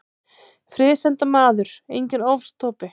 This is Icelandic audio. Friðsemdarmaður, enginn ofstopi.